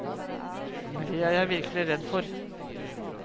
Det er jeg virkelig redd for.